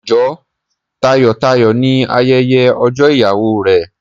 Jó tayọ̀-tayọ̀ ní ayẹyẹ ọjọ́ ìyàwó rẹ.